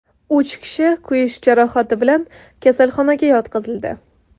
Uch kishi kuyish jarohati bilan kasalxonaga yotqizildi.